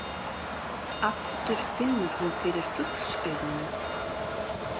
Aftur finnur hún fyrir fuglsaugunum.